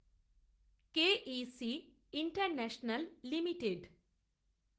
K E C International limited